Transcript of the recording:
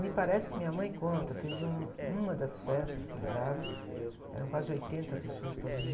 Me parece que minha mãe conta, teve um, uma das festas que ele dava, eram quase oitenta pessoas para dormir.